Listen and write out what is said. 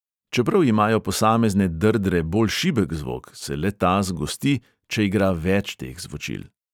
Čeprav imajo posamezne drdre bolj šibek zvok, se le-ta zgosti, če igra več teh zvočil.